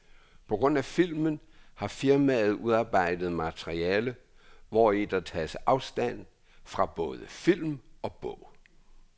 På grund af filmen har firmaet udarbejdet materiale, hvori der tages afstand fra både film og bog.